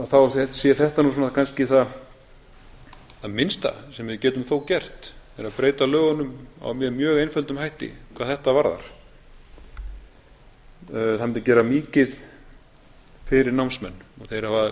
þá sé þetta nú svona kannski það minnsta sem við getum þó gert það er að breyta lögunum með mjög einföldum hætti hvað þetta varðar það mundi gera mikið fyrir námsmenn og þeir hafa